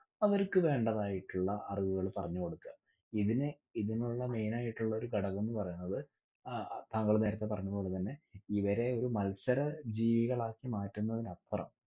അവര്ക്ക് വേണ്ടതായിട്ടുള്ള അറിവുകൾ പറഞ്ഞുകൊടുക. ഇതിനെ ഇതിനുള്ള main ആയിട്ടുള്ളഒരു ഘടക്കംന്ന് പറയുന്നത് അഹ് താങ്ങൾ നേരത്തെ പറഞ്ഞതുപോലെതന്നെ ഇവരെ ഒരു മത്സരജീവികളാക്കി മാറ്റുന്നതിനപ്പുറം